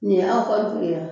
Nin ye aw ka du ye a